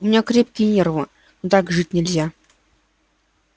у меня крепкие нервы но так жить нельзя